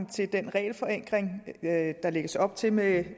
til den regelforenkling der lægges op til med